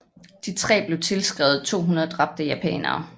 De tre blev tilskrevet 200 dræbte japanere